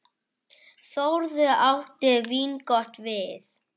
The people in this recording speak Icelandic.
Þórður átti vingott við.